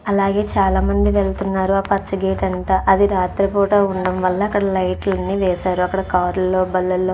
అలాగే చాలామంది వెళ్తున్నారు. ఆ పచ్చ గేట్ అంట అది రాత్రిపూట ఉండడం వల్ల అక్కడ లైట్లు అన్ని వేశారు. అక్కడ కార్ లో బండ్లో --